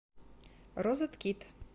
розеткид